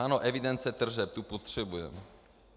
Ano, evidence tržeb, tu potřebujeme.